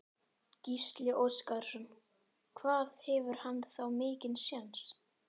Gísli Óskarsson: Hvað hefur hann þá mikinn séns?